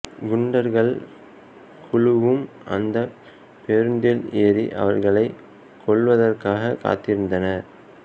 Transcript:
குண்டர்கள் குழுவும் அந்தப் பேருந்தில் ஏறி அவளைக் கொல்வதற்காக காத்திருந்தனர்